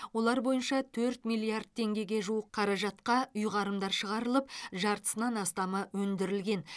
олар бойынша төрт миллиард теңгегеге жуық қаражатқа ұйғарымдар шығарылып жартысынан астамы өндірілген